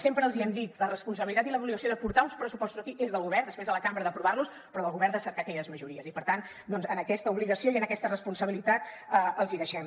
sempre els hi hem dit la responsabilitat i l’obligació de portar uns pressupostos aquí és del govern després de la cambra d’aprovar los però del govern de cercar aquelles majories i per tant amb aquesta obligació i amb aquesta responsabilitat els hi deixem